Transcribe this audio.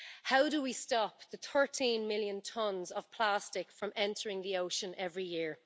How do we stop the 13 million tonnes of plastic from entering the ocean every year?